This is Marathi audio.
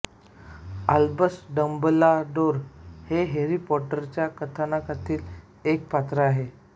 आल्बस डंबलडोर हे हॅरी पॉटरच्या कथानकातील एक पात्र आहे